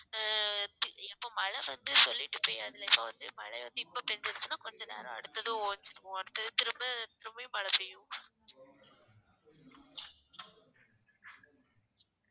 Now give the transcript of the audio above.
ஆஹ் இப்~ இப்ப மழை வந்து சொல்லிட்டு பெய்யாது இல்ல so வந்து மழை வந்து இப்ப பேஞ்சுருச்சுன்னா கொஞ்சம் நேரம் அடுத்து ஓஞ்சிரும் திரும்பி மழை பெய்யும்